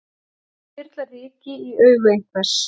Að þyrla ryki í augu einhvers